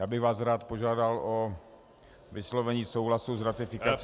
Já bych rád vás požádal o vyslovení souhlasu s ratifikací -